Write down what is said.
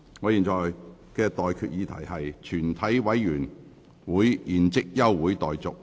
我現在向各位提出的待決議題是：全體委員會現即休會待續。